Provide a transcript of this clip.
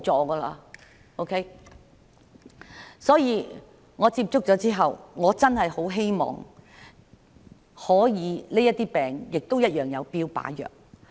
因此，我跟她接觸後，我真的很希望這些病也可以有標靶藥。